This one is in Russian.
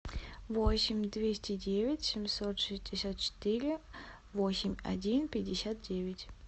восемь двести девять семьсот шестьдесят четыре восемьдесят один пятьдесят девять